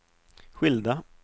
skilda